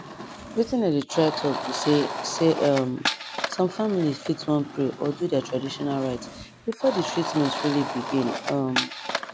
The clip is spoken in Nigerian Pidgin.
wetin i dey try talk be say say um some families fit wan pray or do their traditional rites before the treatment really begin um